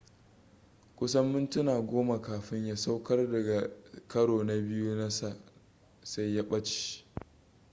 kusan mintuna goma kafin ya saukar daga karo na biyu nasa sai ya ɓace